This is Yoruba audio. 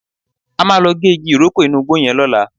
A máa lọ gé igi ìrókò inú igbó yẹn lọ́la